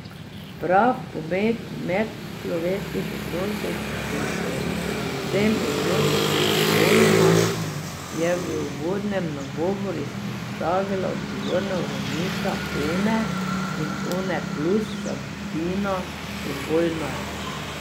Prav pomen medčloveških odnosov in predvsem odnosov med spoloma je v uvodnem nagovoru izpostavila odgovorna urednica One in Oneplus Sabina Obolnar.